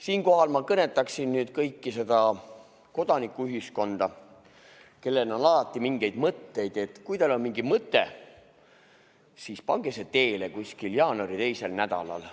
Siinkohal ma kõnetaksin nüüd kodanikuühiskonda, kellel on alati mingeid mõtteid: kui teil on mingi mõte, siis pange see teele kuskil jaanuari teisel nädalal.